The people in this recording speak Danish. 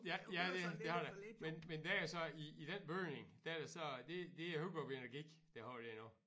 Ja ja det det har der men men det er så i i den bygning der er det så det det er Hurup Energi der har den nu